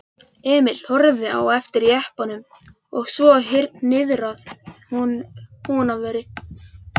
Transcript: Emil horfði á eftir jeppanum og svo niðrað Húnaveri.